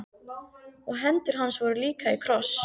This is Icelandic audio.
Og hendur hans voru líka í kross.